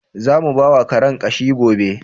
Za mu bawa Karen ƙashi gobe.